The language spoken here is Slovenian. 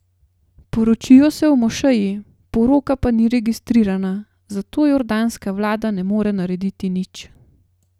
Poročijo se v mošeji, poroka pa ni registrirana, zato jordanska vlada ne more narediti nič.